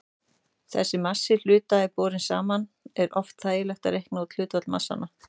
Þegar massi hluta er borinn saman er oft þægilegt að reikna út hlutfall massanna.